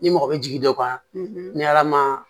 Ni mɔgɔ bɛ jigin dɔ kɔnɔ ni ala ma